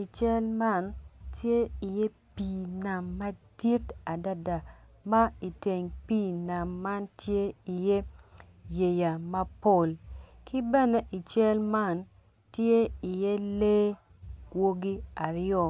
I cal man tye iye pii nam madit adada ma iteng pii nam man tye iye yeya mapol ki bene i cal man tye iye lee gwogi aryo